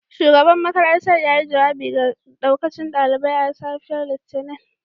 Shugaban makarantar yayi jawabi ga daukacin daliban a safiyar Litinin